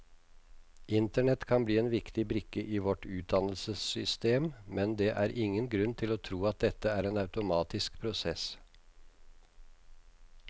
Internett kan bli en viktig brikke i vårt utdannelsessystem, men det er ingen grunn til å tro at dette er en automatisk prosess.